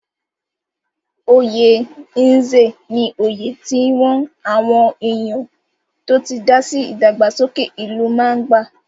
Oyè Nze ní oyè tí wọ́n àwọn èèyàn tó ti dásí ìdàgbàsókè ìlú máa ń gbà.